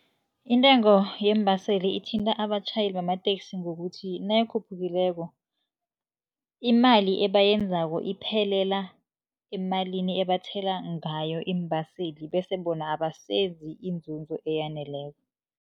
Intengo yeembaseli ithinta abatjhayeli bamateksi ngokuthi, nayikhuphukileko imali ebayenzako iphelela emalini ebathela ngayo iimbaseli. Bese bona abasenzi inzuzo eyaneleko.